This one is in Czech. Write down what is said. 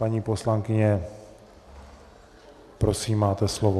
Paní poslankyně, prosím, máte slovo.